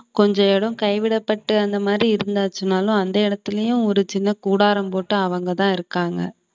கொஞ்ச இடம் கைவிடப்பட்டு அந்த மாதிரி இருந்தாச்சுனாலும் அந்த இடத்திலேயும் ஒரு சின்ன கூடாரம் போட்டு அவங்கதான் இருக்காங்க